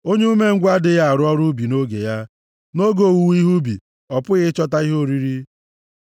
Onye umengwụ adịghị arụ ọrụ ubi nʼoge ya. Nʼoge owuwe ihe ubi ọ pụghị ịchọta ihe oriri.